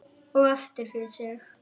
Og aftur fyrir sig.